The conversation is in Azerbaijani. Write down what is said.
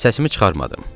Səsimi çıxarmadım.